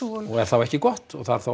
og er þá ekki gott og þar þá